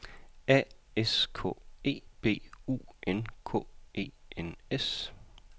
A S K E B U N K E N S